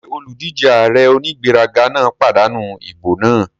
Ṣé olùdíjé ààrẹ onígbéraga náà pàdánù ìbò náà?